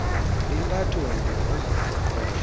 impatho mbi ngokoqoqosho